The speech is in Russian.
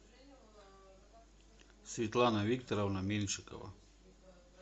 светлана викторовна меньшикова